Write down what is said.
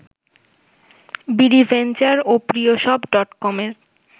BD venture ও প্রিয়শপ ডটকমের